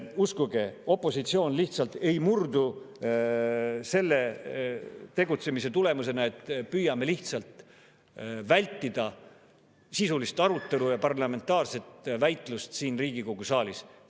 Uskuge, opositsioon ei murdu selle tegutsemise tulemusena, kui püütakse lihtsalt vältida sisulist arutelu ja parlamentaarset väitlust siin Riigikogu saalis.